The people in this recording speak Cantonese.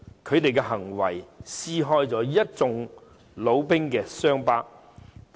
他們的行為撕開了一眾老兵的傷疤。